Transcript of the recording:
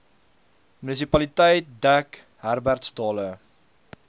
munisipaliteit dek herbertsdale